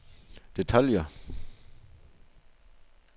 detaljer